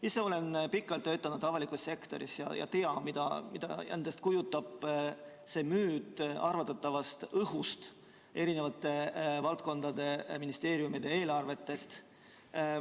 Ise olen pikalt töötanud avalikus sektoris ja tean, mida endast kujutab see müüt arvatavast õhust eri valdkondade ministeeriumide eelarvetes.